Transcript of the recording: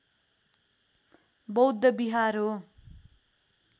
बौद्ध विहार हो